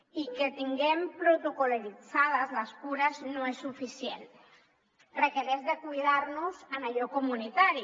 i que tinguem protocol·litzades les cures no és suficient requereix cuidar nos en allò comunitari